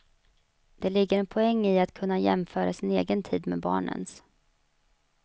Det ligger en poäng i att kunna jämföra sin egen tid med barnens.